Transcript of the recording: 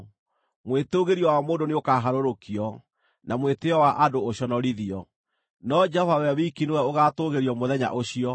Mwĩtũũgĩrio wa mũndũ nĩũkaharũrũkio, na mwĩtĩĩo wa andũ ũconorithio; no Jehova we wiki nĩwe ũgaatũũgĩrio mũthenya ũcio,